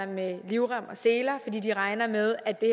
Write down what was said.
med livrem og seler fordi de regner med at det